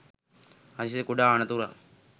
හදිසි කුඩා අනතුරක්